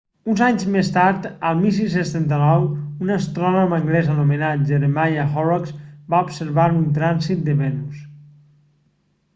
uns anys més tard el 1639 un astrònom anglès anomenat jeremiah horrocks va observar un trànsit de venus